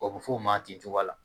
A bɛ fɔ o ma ten cogoya la